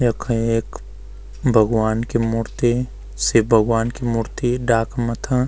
यख एक भगवान् की मूर्ति शिव भगवान् की मूर्ति डाक मथां --